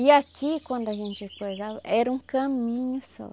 E aqui, quando a gente acordava, era um caminho só.